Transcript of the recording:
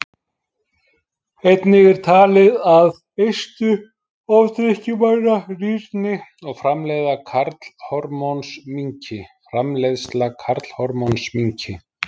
Einnig er talið að eistu ofdrykkjumanna rýrni og framleiðsla karlhormóns minnki.